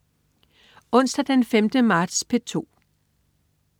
Onsdag den 5. marts - P2: